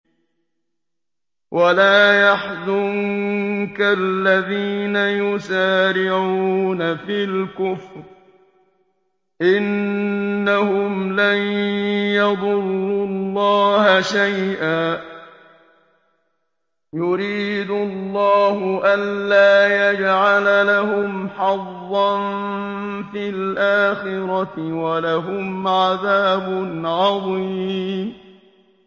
وَلَا يَحْزُنكَ الَّذِينَ يُسَارِعُونَ فِي الْكُفْرِ ۚ إِنَّهُمْ لَن يَضُرُّوا اللَّهَ شَيْئًا ۗ يُرِيدُ اللَّهُ أَلَّا يَجْعَلَ لَهُمْ حَظًّا فِي الْآخِرَةِ ۖ وَلَهُمْ عَذَابٌ عَظِيمٌ